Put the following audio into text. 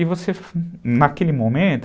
E você, naquele momento...